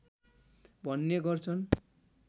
भन्ने गर्छन्